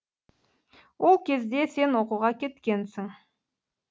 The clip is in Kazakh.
ол кезде сен оқуға кеткенсің